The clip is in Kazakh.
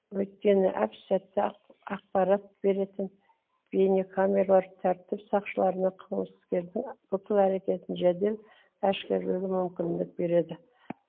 өйткені әп сәтте ақпарат беретін бейнекамерлар тәртіп сақшыларына қылмыскердің бүкіл әрекетін жедел әшкерелеуге мүмкіндік береді